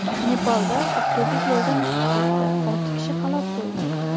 Nepalda avtobus yo‘ldan chiqib ketdi, olti kishi halok bo‘ldi.